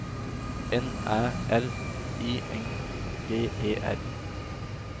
N Æ R I N G E R